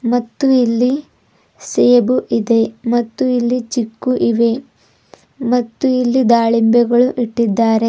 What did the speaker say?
ಮತ್ತು ಇಲ್ಲಿ ಸೇಬು ಇದೆ ಮತ್ತು ಇಲ್ಲಿ ಚಿಕ್ಕು ಇವೆ ಮತ್ತು ಇಲ್ಲಿ ದಾಳಿಂಬೆಗಳು ಇಟ್ಟಿದ್ದಾರೆ.